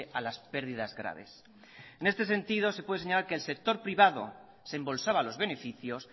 a las pérdidas graves en este sentido se puede señalar que el sector privado se embolsaba los beneficios